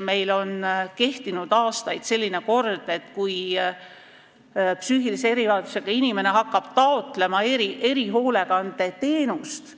Meil on kehtinud aastaid selline kord, et kui psüühilise erivajadusega inimene hakkab taotlema erihoolekandeteenust,